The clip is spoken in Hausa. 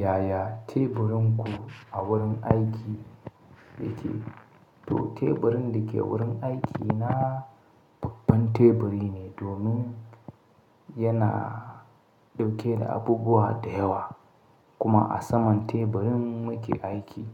Yaya teburinku a wurin aiki yake? To teburin da ke wurin aiki na babban teburi ne, domin yana dauke da abubuwa da yawa. Kuma a saman teburin muke aiki.